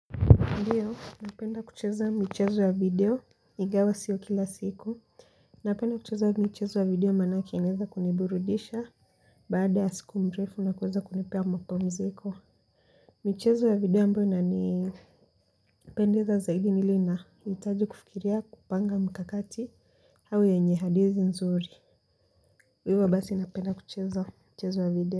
Ndiyo, napenda kucheza michezo ya video ingawa sio kila siku. Napenda kucheza michezo ya video maanake inaweza kuniburudisha. Baada ya siku mrefu na kuweza kunipea mapumziko. Michezo ya video ambayo inanipendeza zaidi ni ile ina. Hitaji kufikiria, kupanga mkakati au yenye hadithi nzuri. Hivyo basi napenda kucheza michezo ya video.